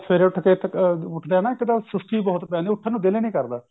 ਸਵੇਰੇ ਉੱਠ ਕੇ ਉੱਠਦੇ ਆ ਨਾ ਇੱਕ ਦਮ ਸੁਸਤੀ ਬਹੁਤ ਪੈਂਦੀ ਐ ਉੱਠਣ ਨੂੰ ਦਿਲ ਹੀ ਨਹੀਂ ਕਰਦਾ